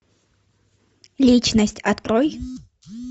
личность открой